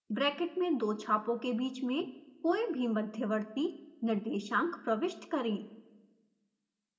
bracket में दो छापों के बीच में कोई भी मध्यवर्ती निर्देशांक प्रविष्ट करें